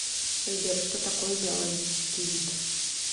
сбер что такое биологический вид